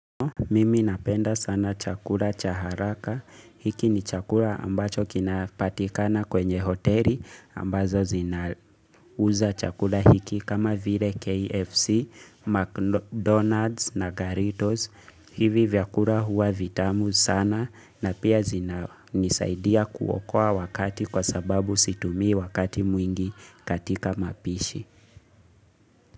Mimi napenda sana chakula cha haraka. Hiki ni chakula ambacho kinapatikana kwenye hoteli ambazo zinauza chakula hiki kama vile KFC, McDonald's na Garritos. Hivi vyakula huwa vitamu sana na pia zinanisaidia kuokoa wakati kwa sababu situmii wakati mwingi katika mapishi.